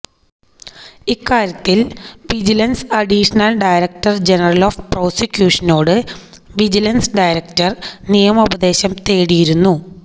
ഇക്കാര്യത്തില്വിജിലന്സ് additional director general of പ്രോസിക്യൂഷനോട് vigilance director നിയമോപദേശം തേടിയിരുന്നു